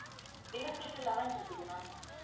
window seat eleven இருக்குது ma'am